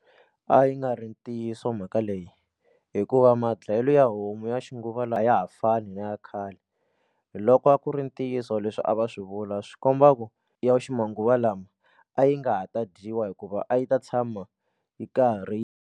A yi nga ri ntiyiso mhaka leyi hikuva ma dlayelo ya homu ya xinguvalawa ya ha fani na ya khale loko a ku ri ntiyiso leswi a va swi vula swi komba ku ya ximanguva lawa a yi nga ha ta dyiwa hikuva a yi ta tshama yi karhi yi.